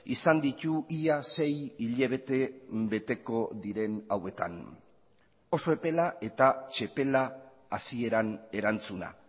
izan ditu ia sei hilabete beteko diren hauetan oso epela eta txepela hasieran erantzuna